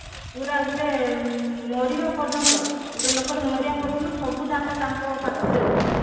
ପୁରା ଗୋଟେ ମରିବା ପର୍ଯ୍ୟନ୍ତ ଗୋଟେ ଲୋକଟେ ମରିବା ପର୍ଯ୍ୟନ୍ତ ସବୁ data ତାଙ୍କ ପାଖରେ ରହୁଛି